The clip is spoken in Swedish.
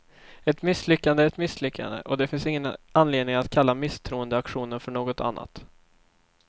Ett misslyckande är ett misslyckande, och det finns ingen anledning att kalla misstroendeaktionen för något annat.